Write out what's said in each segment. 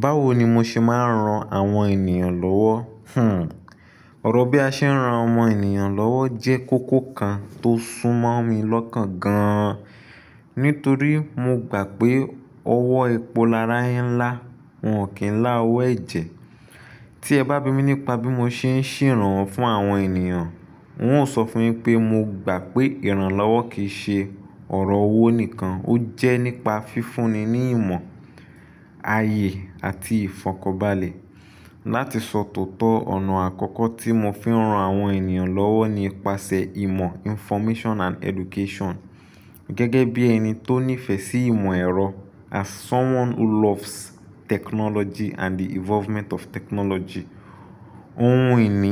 Báwo ni mo ṣe máa ń ran àwọn ènìyàn lọ́wọ́? Hmm. Ọ̀rọ̀ bí a ṣe ń ran ọmọ ènìyàn lọ́wọ́ jẹ́ kókó kan tó súnmọ́ mi lọ́kàn gan-an. Nítorí mo gbà pé owó epo lára yẹ ń lá, wọn ò kí ń lá owó ẹ̀jẹ̀. Tí ẹ bá bi mí nípa bí mo ṣe ń ṣeranwọ́ fún àwọn ènìyàn, wọn óò sọ fún yín pé mo gbà pé ìrànlọ́wọ́ kì í ṣe ọ̀rọ̀ owó nìkan, ó jẹ́ nípa fífúnni ní ìmọ̀, ààyè àti ìfọ̀kànbalẹ̀. Láti sọ tòótọ́, ọ̀nà àkọ́kọ́ tí mo fi ń ran àwọn ènìyàn lọ́wọ́ ni pasẹ̀ ìmọ̀ information and education. Gẹ́gẹ́ bí ẹni tó nífẹ̀ẹ́ sí ìmọ̀ ẹ̀rọ as someone who loves technology and the involvement of technology, ohun ìní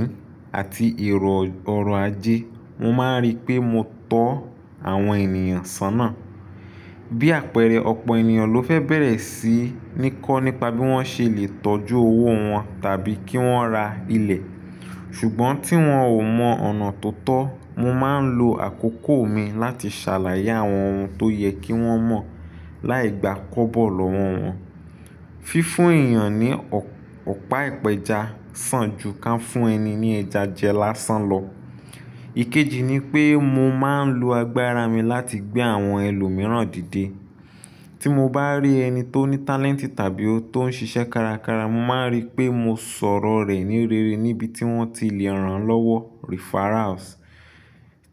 àti ìrọ̀ ọrọ̀ ajé, mo máa ń rí pé mo tọ́ àwọn ènìyàn sọ́nà. Bí àpẹẹrẹ, ọ̀pọ̀ ènìyàn ló fẹ́ bẹ̀rẹ̀ sí ní kọ́ nípa bí wọ́n ṣe lè tọ́jú owó wọn tàbí kí wọ́n ra ilẹ̀. Ṣùgbọ́n tí wọ́n ò mọ ọ̀nà tó tọ́, mo máa ń lo àkókò mi láti ṣàlàyé àwọn ohun tó yẹ kí wọ́n mọ̀ láì gba kóbọ̀ lọ́wọ́ wọn. Fífún èèyàn ní ọ̀pá ìpẹja sàn ju ká fún ẹni ní ẹja jẹ lásán lọ. Ìkejì ni pé mo máa ń lo agbára mi láti gbé àwọn ẹlòmíràn dìde. Tí mo bá rí ẹni tó ní talent tàbí ó tó ń ṣiṣẹ́ kárakára, mo máa ń rí pé mo sọ̀rọ̀ rẹ̀ ní rere níbi tí wọ́n ti le è rán lọ́wọ́ referrals.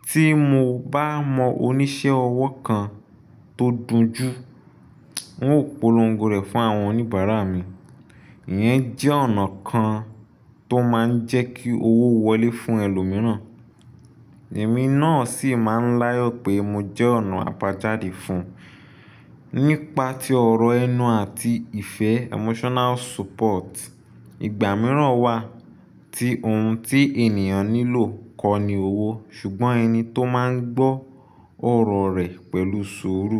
Tí mo bá mọ oníṣẹ́ ọwọ́ kan tó dùn jù, n ó polongo rẹ̀ fún àwọn oníbàárà mi. Ìyẹn jẹ́ ọ̀nà kan tó máa ń jẹ́ kí owó wọlé fún ẹlòmíràn. Ẹ̀mí náà sì máa ń láyò pé mo jẹ́ ọ̀nà àbá jáde fún un. Nípa tí ọ̀rọ̀ ẹnu àti ìfẹ́ emotional support. Ìgbà mìíràn wà tí ohun tí ènìyàn nílò kọ́ ni owó, ṣùgbọ́n ẹni tó máa ń gbọ́ ọ̀rọ̀ rẹ̀ pẹ̀lú sùúrù.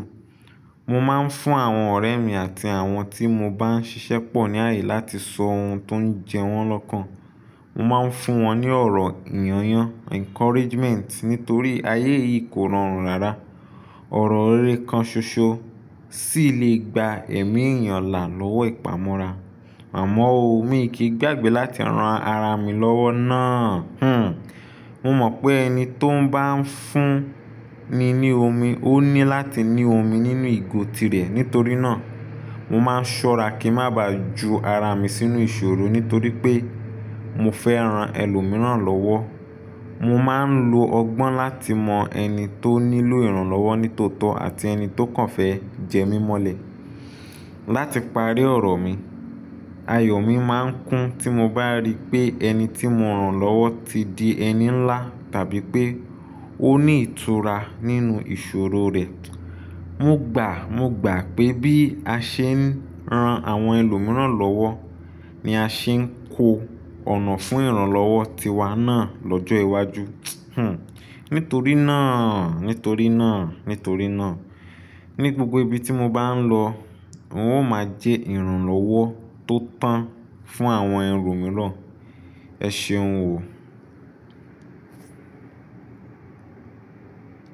Mo máa ń fún àwọn ọ̀rẹ́ mi àti àwọn tí mo bá ń ṣiṣẹ́ pọ̀ ní ààyè láti sọ ohun tó ń jẹ wọ́n lọ́kàn. Mo máa ń fún wọn ní ọ̀rọ̀ ìyọ̀nyán encouragement nítorí ayé yìí kò rọrùn rárá. Ọ̀rọ̀ rere kan ṣoṣo sì lè gba ẹ̀mí ènìyàn là lọ́wọ́ ìpamora. Àmọ́ ó, mi kì í gbàgbé láti ran ara mi lọ́wọ́ ná. Hmm. Mo mọ̀ pé ẹni tó bá ń fún ni ní omi, ó ní láti ní omi nínú ìgò tirẹ̀. Nítorí náà, mo máa ń ṣọ́ra kí n má ba ju ara mi sínú ìṣòro nítorí pé mo fẹ́ ran ẹlòmíràn lọ́wọ́. Mo máa ń lo ọgbọ́n láti mọ ẹni tó nílò ìrànlọ́wọ́ ní tòótọ́ àti ẹni tó kàn fẹ́ jẹ mí mọ́lẹ̀. Láti parí ọ̀rọ̀ mi, ayọ̀ mi máa ń kún tí mo bá rí pé ẹni tí mo rán lọ́wọ́ ti di ẹni ńlá tàbí pé ó ní ìtura nínú ìṣòro rẹ̀. Mo gbà, mo gbà pé bí a ṣe ń ran àwọn ẹlòmíràn lọ́wọ́ ni a ṣe ń kó ọ̀nà fún ìrànlọ́wọ́ tiwa náà lọ́jọ́ iwájú. Hmm. Nítorí náà, nítorí náà, nítorí náà, ní gbogbo ibi tí mo bá ń lọ, n ó máa jẹ́ ìrànlọ́wọ́ tó tán fún àwọn ẹlòmíràn. Ẹ ṣeun ò.